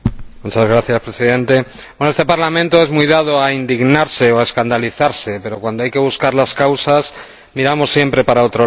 Señor Presidente, este Parlamento es muy dado a indignarse o a escandalizarse, pero cuando hay que buscar las causas, miramos siempre para otro lado.